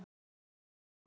Hödd: Hvernig er bragðið?